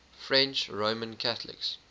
french roman catholics